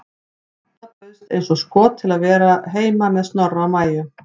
Dadda bauðst eins og skot til að vera heima með Snorra og Maju.